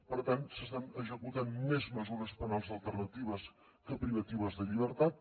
per tant s’estan executant més mesures penals alternatives que privatives de llibertat